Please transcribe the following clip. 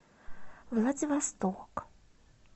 владивосток